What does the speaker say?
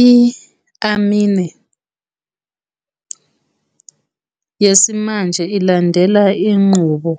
I-anime yesimanje ilandela inqubo